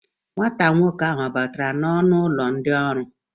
Nwa nwoke ahụ ọ batara n'ọnụ ụlọ ndị ọrụ?